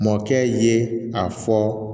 Mɔkɛ ye a fɔ